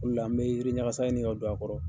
O de la n bɛ yiriɲasa ɲini ka don a kɔrɔ.